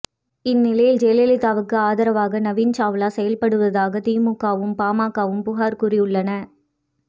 இந் நிலையி்ல் ஜெயலலிதாவுக்கு ஆதரவாக நவீன் சாவ்லா செயல்படுவதாக திமுகவும் பாமகவும் புகார் கூறியுள்ளன